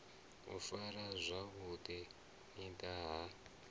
u farwa zwavhu ḓi ha